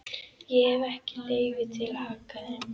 Ég hef ekki leyfi til að hagga þeim.